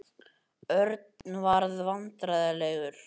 Örn varð vandræðalegur.